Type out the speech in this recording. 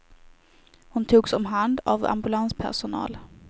Hon togs om hand av ambulanspersonal.